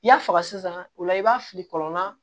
I y'a faga sisan o la i b'a fili kɔlɔn na